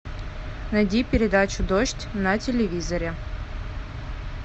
найди передачу дождь на телевизоре